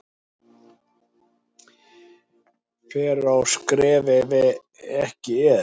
Fer á sker ef ekki er